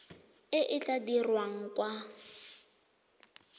e e tla dirwang kwa